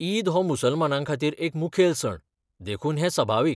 ईद हो मुसलमानांखातीर एक मुखेल सण, देखून हें सभाविक.